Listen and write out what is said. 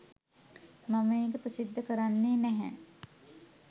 මම ඒක ප්‍රසිද්ධ කරන්නේ නැහැ.